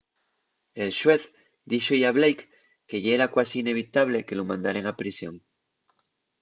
el xuez díxo-y a blake que yera cuasi inevitable” que lu mandaren a prisión